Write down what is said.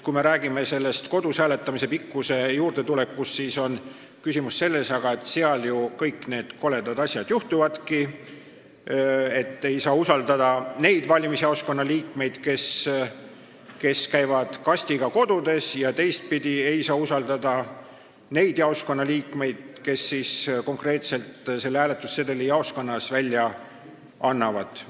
Kui me räägime kodus hääletamise ajast, siis on küsimus selles, et aga seal ju kõik need koledad asjad juhtuvadki, ei saa usaldada neid valimisjaoskonna liikmeid, kes käivad kastiga kodudes, ega saa usaldada ka neid jaoskonna liikmeid, kes konkreetselt selle hääletussedeli jaoskonnas välja annavad.